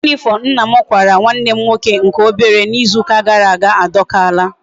Uwe uniform nna m kwara nwa nne nke obere na Izu uka gara aga a dokala